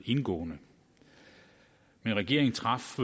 indgående men regeringen traf